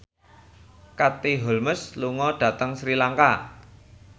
Katie Holmes lunga dhateng Sri Lanka